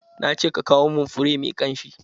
Na ce ka kawo mun fure mai kamshi!